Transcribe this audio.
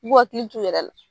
U k'u hakili t'u yɛrɛ la.